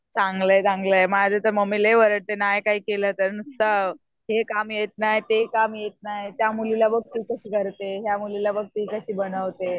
चांगलं आहे चांगलं आहे माझी तर मम्मी लई ओरडते नाही काय केलं तर नुसतं हे काम येत नाही ते काम येत नाही. त्यामुलीला बघ कशी करते. या मुलीला बघ ती कशी बनवते.